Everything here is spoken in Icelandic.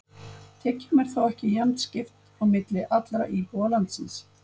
Tekjum er þó ekki jafnt skipt á milli allra íbúa landsins.